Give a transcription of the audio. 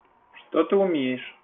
что ты умеешь